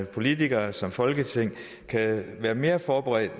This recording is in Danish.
politikere som folketing kan være mere forberedte